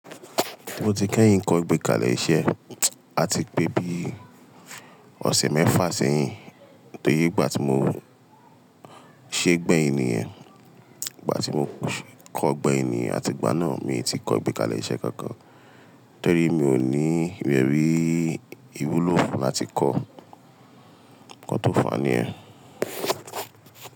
Mo ti kẹ́yìn kọ́ ìgbékalẹ̀ iṣẹ́. A ti pé bì ọ̀sẹ̀ mẹ́fà sẹ́yìn tóye ìgbà tí mo ṣé gbẹ́ ènìyàn, ìgbà tí mo kọ́ gba ènìyàn àti gbà náà mi ti kọ́ ìgbékalẹ̀ iṣẹ́ kankan. Torí mi ò ní ẹ́rí ìwúlò fún láti kọ́ nǹkan tó fa niyen.